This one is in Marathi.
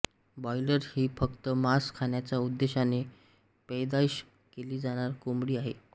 ब्रॉयलर ही फक्त मांस खाण्याच्या उद्देशाने पैदाइश केली जाणारी कोंबडी आहे